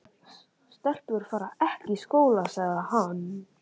Stelpur fara ekki í skóla, sagði hann.